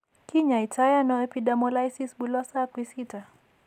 Kiny'ayto anon epidermolysis bullosa acquisita?